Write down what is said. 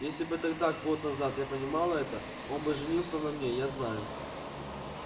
если бы тогда год назад я понимала это он бы женился на мне я знаю